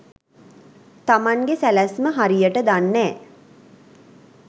තමන්ගෙ සැලැස්ම හරියට දන්නෑ.